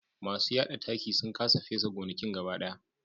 Masu yada taki sun kasa fesa gonakin gaba daya